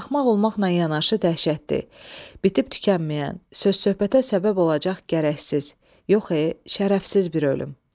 Axmaq olmaqla yanaşı dəhşətli, bitib-tükənməyən, söz-söhbətə səbəb olacaq gərəksiz, yox, şərəfsiz bir ölüm.